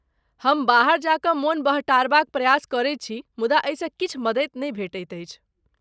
हम बाहर जा कऽ मोन बहटारबाक प्रयास करैत छी मुदा एहिसँ किछु मदति नहि भेटैत अछि।